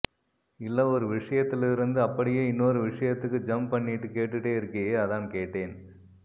இல்ல ஒரு விஷயத்துல இருந்து அப்படியே இன்னொரு விஷயத்துக்கு ஜம்ப் பண்ணிட்டு கேட்டுட்டே இருக்கியே அதான் கேட்டேன்